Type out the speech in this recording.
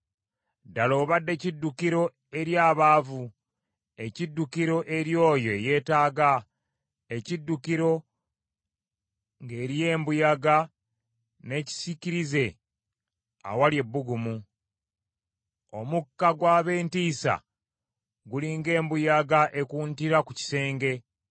Ddala obadde kiddukiro eri abaavu, ekiddukiro eri oyo eyeetaaga, ekiddukiro ng’eriyo embuyaga n’ekisiikirize awali ebbugumu. Omukka gw’ab’entiisa guli ng’embuyaga ekuntira ku kisenge